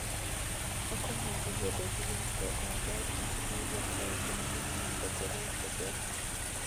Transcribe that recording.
Okonyo ji bedo gi winjruok maber gi joma wuok e ogendini mopogore opogore.